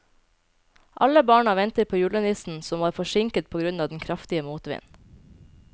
Alle barna ventet på julenissen, som var forsinket på grunn av den kraftige motvinden.